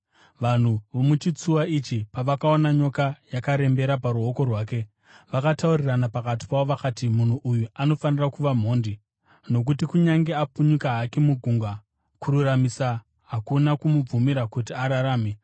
Vanhu vomuchitsuwa ichi pavakaona nyoka yakarembera paruoko rwake, vakataurirana pakati pavo vakati, “Munhu uyu anofanira kuva mhondi; nokuti kunyange apunyuka hake mugungwa, kururamisira hakuna kumubvumira kuti ararame.”